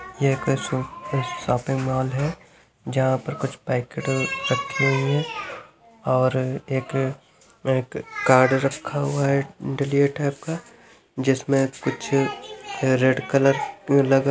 यह एक सा शॉपिंग मॉल है जहां पर कुछ पैकेट रखी हुई हैं और एक एक कार्ड रखा हुआ है दलिया टाइप का जिसमे कुछ रेड कलर लगा--